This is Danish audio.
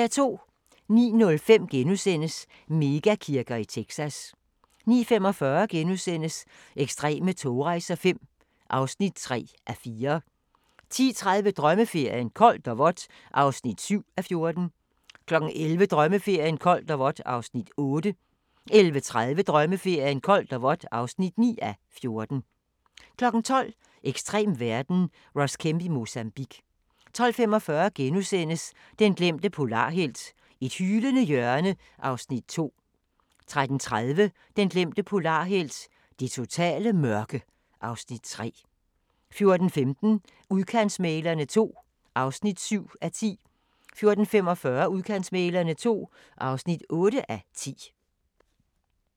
09:05: Mega-kirker i Texas * 09:45: Ekstreme togrejser V (3:4)* 10:30: Drømmeferien: Koldt og vådt (7:14) 11:00: Drømmeferien: Koldt og vådt (8:14) 11:30: Drømmeferien: Koldt og vådt (9:14) 12:00: Ekstrem verden - Ross Kemp i Mozambique 12:45: Den glemte polarhelt: Et hylende hjørne (Afs. 2)* 13:30: Den glemte polarhelt: Det totale mørke (Afs. 3) 14:15: Udkantsmæglerne II (7:10) 14:45: Udkantsmæglerne II (8:10)